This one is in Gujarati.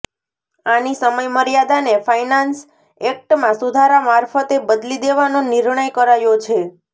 આની સમય મર્યાદાને ફાઈનાન્સ એક્ટમાં સુધારા મારફતે બદલી દેવાનો નિર્ણય કરાયો છે